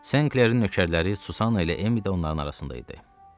Senklerin nökərləri Susanna ilə Emmi də onların arasında idi.